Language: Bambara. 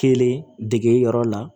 Kelen dege yɔrɔ la